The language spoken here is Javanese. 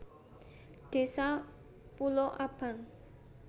Désa Pulo Abang